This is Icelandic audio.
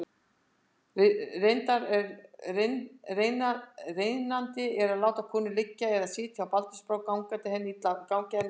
Reynandi er að láta konu liggja eða sitja á baldursbrá gangi henni illa að fæða.